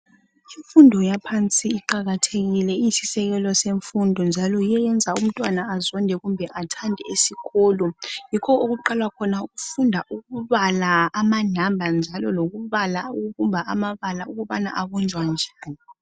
Imfundo yaphansi iqakathekile njalo iyisisekelo ngoba iyenza umntwana athande kube azonde isikolo. Yikho lapha okuqala khona ukufunda ukubala lokubhala lokubumba amabala.